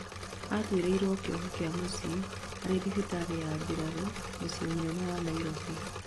atuĩrĩirwo kĩoho kĩa mũciĩ arĩ thibitarĩ ya mbirarũ mũciĩ mũnene wa Nairobi